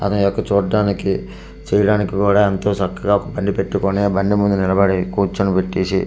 అదే అక్కడ చూడ్డానికి చేయడానికి కూడా ఏంతో చక్కగా బండి పెట్టుకొని బండి ముందు నిలబడి కుర్చునబెట్టేసి హెల్మెట్ పక్క--